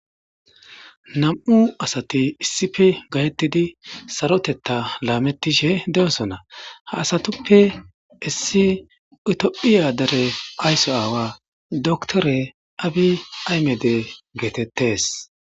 Nam'u asati issippe gahetidi sarotetha lametishe de'osona , ha satuppe issi itophiya gade ayso awa doctere abiy ahimede getetes.